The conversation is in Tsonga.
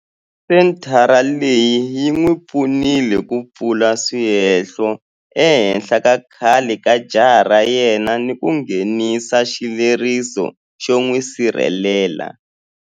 Senthara leyi yi n'wi pfunile ku pfula swihehlo ehenhla ka khale ka jaha ra yena ni ku nghenisa xileriso xo n'wi sirhelela.